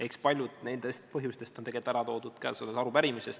Eks paljud nendest põhjustest on ära toodud käesolevas arupärimises.